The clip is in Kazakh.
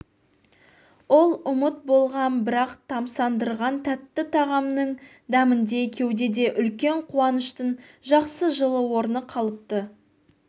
ол ұмыт болған бірақ тамсандырған тәтті тағамның дәміндей кеудеде үлкен қуаныштың жақсы жылы орны қалыпты